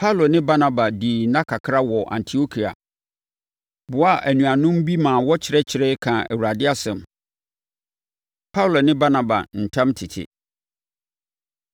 Paulo ne Barnaba dii nna kakra wɔ Antiokia, boaa anuanom bi maa wɔkyerɛkyerɛeɛ, kaa Awurade asɛm. Paulo Ne Barnaba Ntam Tete